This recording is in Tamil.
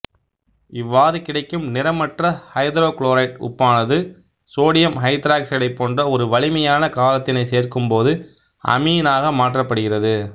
இவ்வாறு கிடைக்கும் நிறமற்ற ஐதரோகுளோரைடு உப்பானது சோடியம் ஐதராக்சைடைப் போன்ற ஒரு வலிமையான காரத்தினைச் சேர்க்கும் போது அமீனாக மாற்றப்படுகிறது